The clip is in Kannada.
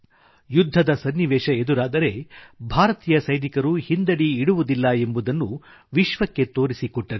ಯುದ್ಧದ ಸನಿವೇಶ ಎದುರಾದರೆ ಭಾರತೀಯ ಸೈನಿಕರು ಹಿಂದಡಿ ಇಡುವುದಿಲ್ಲ ಎಂಬುದನ್ನು ವಿಶ್ವಕ್ಕೆ ತೋರಿಸಿಕೊಟ್ಟರು